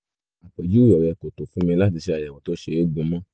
àpèjúwe rẹ kò tó fún mi láti ṣe àyẹ̀wò tó ṣe gúnmọ́